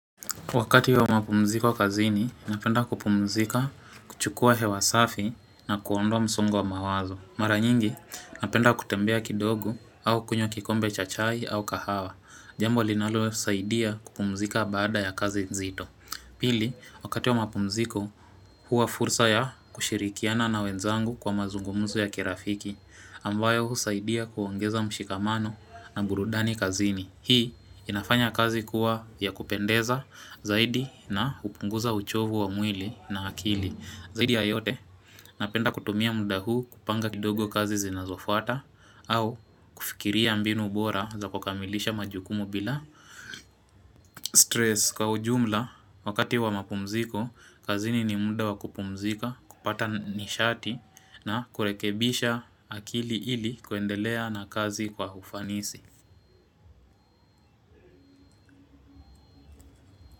Wakati wa mapumziko kazini, napenda kupumzika kuchukua hewa safi na kuondoa msungu wa mawazo. Mara nyingi, napenda kutembea kidogo au kunywa kikombe cha chai au kahawa. Jambo linalosaidia kupumzika baada ya kazi nzito. Pili, wakati wa mapumziko, huwa fursa ya kushirikiana na wenzangu kwa mazungumuzo ya kirafiki. Ambayo husaidia kuongeza mshikamano na burudani kazini. Hii inafanya kazi kuwa ya kupendeza zaidi na hupunguza uchovu wa mwili na akili. Zaidi ya yote napenda kutumia muda huu kupanga kidogo kazi zinazofuata au fikiria mbinu bora za kukamilisha majukumu bila stress. Kwa ujumla wakati wa mapumziko kazini ni muda wa kupumzika kupata nisharti na kurekebisha akili ili kuendelea na kazi kwa ufanisi.